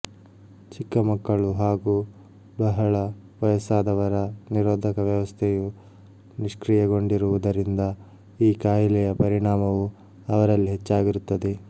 ಚಿಕ್ಕಮಕ್ಕಳು ಹಾಗೂ ಬಹಳ ವಯಸ್ಸಾದವರ ನಿರೋಧಕ ವ್ಯವಸ್ಥೆಯೂ ನಿಶ್ ಕ್ರಿಯೆಗೊಂಡಿರುವುದರಿಂದ ಈ ಖಯಿಲೆಯ ಪರಿಣಾಮವು ಅವರಲ್ಲಿ ಹೆಚ್ಚಾಗಿರುತ್ತದೆ